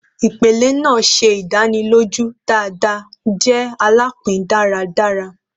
Ipele naa ṣe idaniloju dada jẹ alapin daradara